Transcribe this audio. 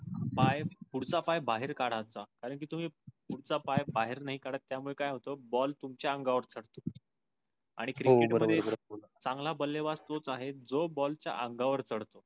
पाय पुढचा पाय बाहीर काढायचं कारण कि तुम्ही पुढचा पाय बाहीर नाही काड त्या मुळे काय होतो? ball तुमच्या अंगावर चाडतो. आणि क्रिकेट मधे चांगल बल्लेबाज त्योच आहे जो ball च अंगावर चडतो.